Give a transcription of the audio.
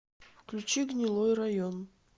включи гнилой район